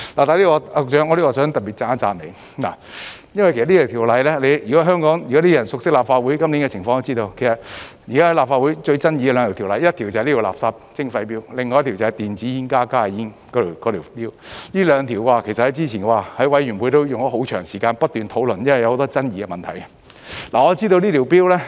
局長，在此我想特別讚賞你一下，就着這項《條例草案》，如果香港人熟悉立法會今年的情況，也會知道現時在立法會最有爭議的兩項法案，第一就是這項垃圾徵費 Bill， 另一項便是電子煙、加熱煙的 Bill， 這兩項法案之前在法案委員會都花了很長時間不斷討論，因為有很多爭議問題。